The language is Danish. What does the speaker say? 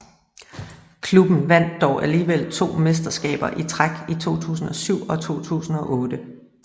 Klubben vandt dog alligevel to mesterskabet i træk i 2007 og 2008